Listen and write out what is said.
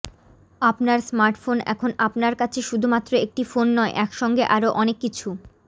আপনার স্মার্টফোন এখন আপনার কাছে শুধু মাত্র একটি ফোন নয় একসঙ্গে আরো অনেক কিছু